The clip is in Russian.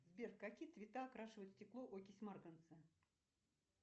сбер в какие цвета окрашивает стекло окись марганца